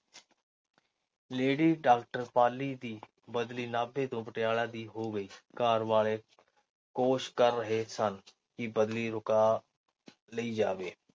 Lady doctor Pali ਦੀ ਬਦਲੀ ਨਾਭੇ ਤੋਂ ਪਟਿਆਲਾ ਦੀ ਹੋ ਗਈ। ਘਰ ਵਾਲੇ ਕੋਸ਼ਿਸ਼ ਕਰ ਰਹੇ ਸਨ ਕਿ ਬਦਲੀ ਰੁਕਾ ਲਈ ਜਾਵੇ।